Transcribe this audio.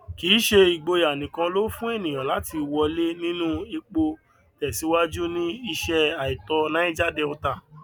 kì í ṣe ìgboyà nìkan ló fún ènìyàn láti wọlé nínú epo tẹsíwájú ní iṣẹ àìtọ niger delta